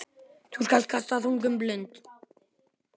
Þá skal kasta þungum blund.